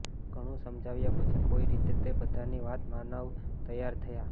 ઘણું સમજાવ્યા પછી કોઈ રીતે તે બધાની વાત માનવ તૈયાર થયા